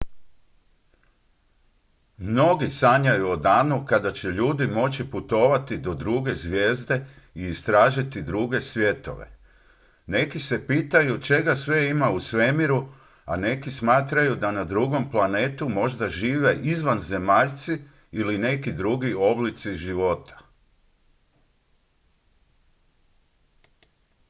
mnogi sanjaju o danu kada će ljudi moći putovati do druge zvijezde i istražiti druge svjetove neki se pitaju čega sve ima u svemiru a neki smatraju da na drugom planetu možda žive izvanzemaljci ili neki drugi oblici života